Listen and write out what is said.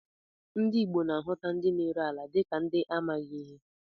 Ndị Igbo na-ahuta ndị na-ere ala dịka ndị amaghị ihe